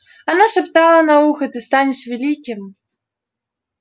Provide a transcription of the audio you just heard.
она шептала на ухо ты станешь великим